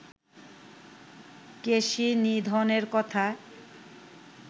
কেশিনিধনের কথা